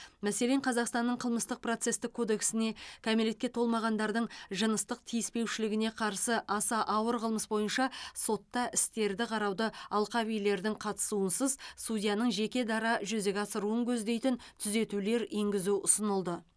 мәселен қазақстанның қылмыстық процестік кодексіне кәмелетке толмағандардың жыныстық тиіспеушілігіне қарсы аса ауыр қылмыс бойынша сотта істерді қарауды алқабилердің қатысуынсыз судьяның жеке дара жүзеге асыруын көздейтін түзетулер енгізу ұсынылды